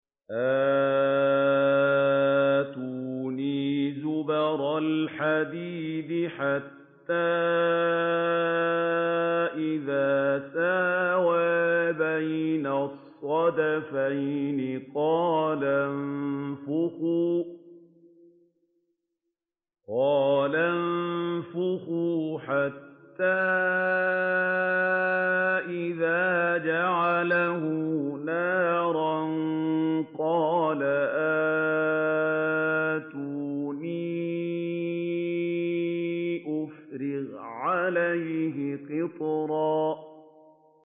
آتُونِي زُبَرَ الْحَدِيدِ ۖ حَتَّىٰ إِذَا سَاوَىٰ بَيْنَ الصَّدَفَيْنِ قَالَ انفُخُوا ۖ حَتَّىٰ إِذَا جَعَلَهُ نَارًا قَالَ آتُونِي أُفْرِغْ عَلَيْهِ قِطْرًا